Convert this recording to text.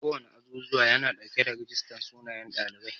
Kowana azuzuwa yana dauke da rijistar sunayen ɗalibai.